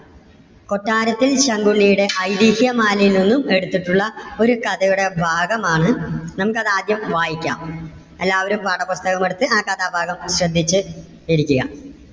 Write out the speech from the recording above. കൊട്ടാരത്തിൽ ശങ്കുണ്ണിയുടെ ഐതിഹ്യമാലയിൽ നിന്നും എടുത്തിട്ടുള്ള ഒരു കഥയുടെ ഭാഗം ആണ്, നമുക്ക് അത് ആദ്യം വായിക്കാം. എല്ലാവരും പാഠപുസ്തകം എടുത്ത് ആ കഥ ഭാഗം ഒന്ന് ശ്രദ്ധിച്ച് ഇരിക്കുക.